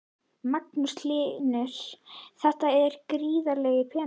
Magnús Hlynur: Þetta er gríðarlegur peningur?